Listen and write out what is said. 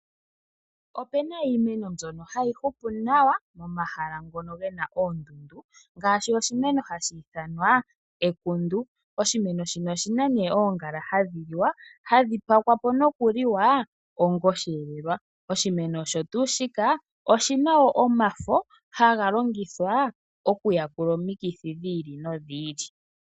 Opena iimeno mbyono hayi hupu nawa momahala ngono gena oondundu ngaashi, oshimeno hashi ithanwa ekundu. Oshimeno shino oshina ne oongala hadhi liwa hadhi pakwa po nokuliwa onga oshihelelwa. Oshimeno osho tuu shika oshina wo omafo haga longithwa okuyakula omikithi dhi ili nodhi ili.